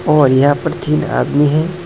और यहां पर तीन आदमी हैं।